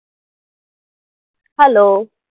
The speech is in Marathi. Hello